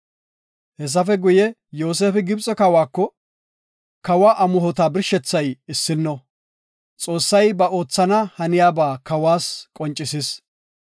Hessafe guye, Yoosefi Gibxe kawako, “kawa amuhota birshethay issino. Xoossay ba oothana haniyaba kawas qoncisis.